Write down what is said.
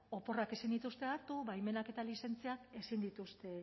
oporrak ez zituzten hartu baimenak eta lizentziak ezin dituzte